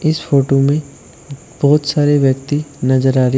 इस फोटो में बहोत सारे व्यक्ति नजर आ रहे--